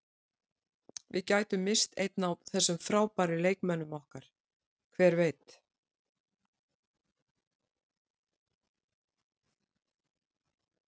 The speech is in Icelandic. Við gætum misst einn af þessum frábæru leikmönnum okkar, hver veit?